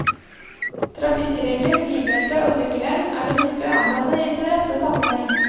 Trafikkregler, bilbelte og sykkelhjelm er det nyttig å anvende i sin rette sammenheng.